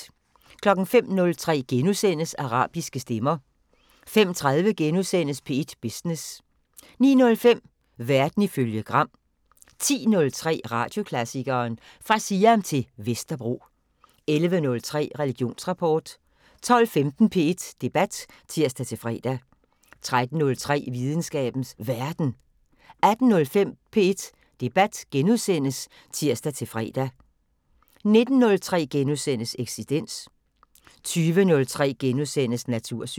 05:03: Arabiske stemmer * 05:30: P1 Business * 09:05: Verden ifølge Gram 10:03: Radioklassikeren: Fra Siam til Vesterbro 11:03: Religionsrapport 12:15: P1 Debat (tir-fre) 13:03: Videnskabens Verden 18:05: P1 Debat *(tir-fre) 19:03: Eksistens * 20:03: Natursyn *